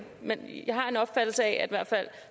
men jeg har den opfattelse at i hvert fald